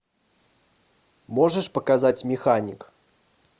можешь показать механик